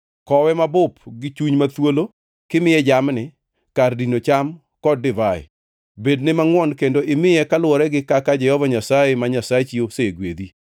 Kowe mabup gi chuny ma thuolo kimiye jamni, kar dino cham kod divai. Bedne mangʼwon kendo imiye kaluwore gi kaka Jehova Nyasaye ma Nyasachi osegwedhi.